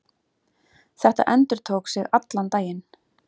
Þetta endurtók sig allan daginn.